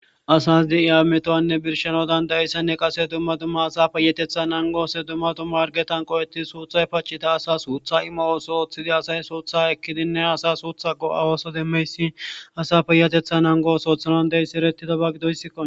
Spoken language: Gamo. asas de7iya ametowanne birshano dandayissanne qase dumma dumma asa peyatetha nangoose dumma dumma argetan qoweti suuthay pachita asa suutha ima ooso ooththidi asay suutha ekkidinne asa suutha go7awooso demmeysin asa peyatetha nangooso othanon de7yssierettidaba gidoyssikkon